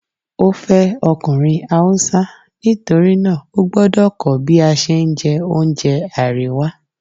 ó fẹ́ ọkùnrin Hausa nítorí náà ógbọ́dọ̀ kọ́ bí a ṣe ń jẹ oúnjẹ àríwá.